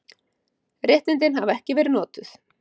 Réttindin hafa ekki verið notuð.